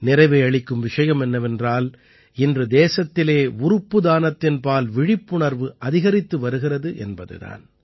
நிறைவை அளிக்கும் விஷயம் என்னவென்றால் இன்று தேசத்திலே உறுப்பு தானத்தின்பால் விழிப்புணர்வு அதிகரித்து வருகிறது என்பது தான்